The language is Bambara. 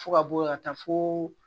Fo ka bɔ yan ka taa foo